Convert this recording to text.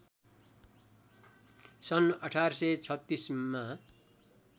सन् १८३६ मा